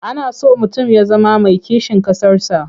Ana so mutum ya zama mai kishin ƙasarsa.